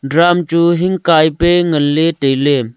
drum chu hing kai pe ngan le taile.